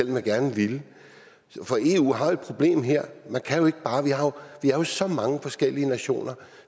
jeg gerne ville eu har et problem her vi er jo så mange forskellige nationer